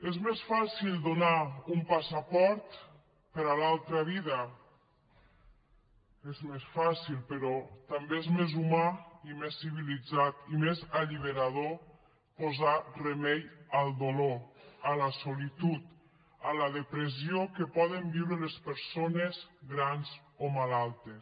és més fàcil donar un passaport per a l’altra vida és més fàcil però també és més humà i més civilitzat i més alliberador posar remei al dolor a la solitud a la depressió que poden viure les persones grans o malaltes